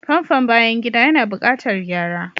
Famfon bayan gida yana buƙatar gyara.